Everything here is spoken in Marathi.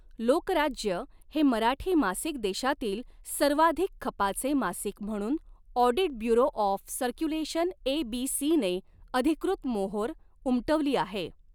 लोकराज्य हे मराठी मासिक देशातील सर्वाधिक खपाचे मासिक म्हणून audit bureau of circulation ABC ने अधिकृत मोहोर उमटवली आहे.